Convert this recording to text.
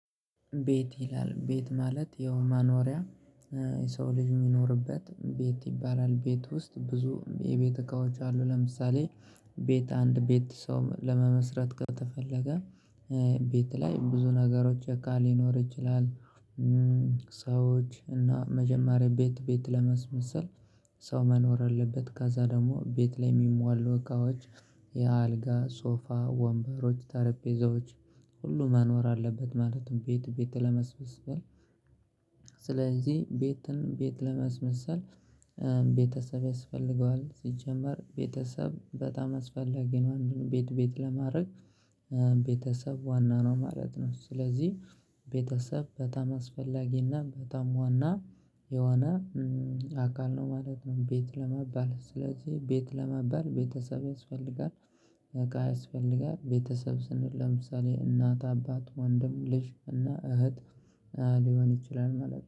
ቤት ይላል ቤት ማለት ያው መኖሪያ የሰው ልጅ የሚኖርበት ቤት ይባላል ቤት ውስጥ ብዙ የቤት እቃዎች አሉ ለምሳሌ ቤት አንድ ቤት ሰው ለመመስረት ከተፈለገ ቤት ላይ ብዙ ነገሮች እቃ ሊኖር ይችላል። ሰዎች እና መጀመሪያ ቤት ቤት ለማስመሰል ሰው መኖር አለበት ካዛ ደግሞ ቤት ላይ የሚሟሉ እቃዎች የአልጋ ሶፋ ወንበሮች ጠረጴዛዎች ሁሉ መኖር አለበት ማለት ነው። ቤት ቤት ለማስመሰል ስለዚህ ቤትን ቤት ለማስመሰል ቤተሰብ ያስፈልገዋል ሲጀመር ቤተሰብ በጣም አስፈላጊ ነው። አንድ ቤት ቤት ለማድረግ ቤተሰብ ዋና ነው ማለት ነው። ስለዚህ ቤተሰብ በጣም አስፈላጊና በጣም ዋና የሆነ አካል ነው ማለት ነው። ቤት ለመባል ስለዚህ ቤት ለመባል ቤተሰብ ያስፈልጋል። እቃ ያስፈልጋል ቤተሰብ ስንል ለምሳሌ እናት አባት ወንድም ልጅ እና እህት ሊሆን ይችላል ማለት ነው